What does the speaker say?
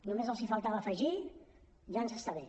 només els faltava afegir ja ens està bé